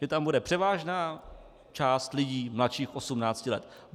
Že tam bude převážná část lidí mladších 18 let.